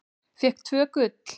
Fékk tvö gul.